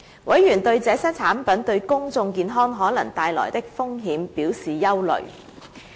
委員對這些產品對公眾健康可能帶來的風險表示憂慮。